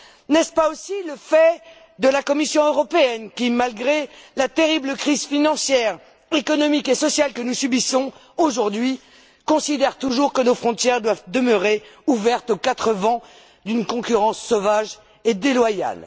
N'est ce pas aussi le fait de la Commission européenne qui, malgré la terrible crise financière, économique et sociale que nous subissons aujourd'hui, considère toujours que nos frontières doivent demeurer ouvertes aux quatre vents d'une concurrence sauvage et déloyale?